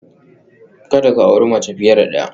Kada ku auri mace fiye da ɗaya